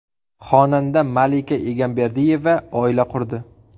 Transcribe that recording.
Xonanda Malika Egamberdiyeva oila qurdi.